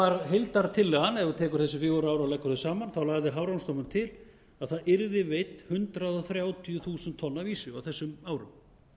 var heildartillaga ef þú tekur þessi fjögur ár og leggur þau saman þá lagði hafrannsóknastofnun til að það yrðu veidd hundrað þrjátíu þúsund tonn af ýsu á þessum árum